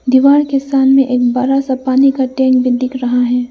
दीवार के सामने एक बड़ा सा पानी का टैंक भी दिख रहा है।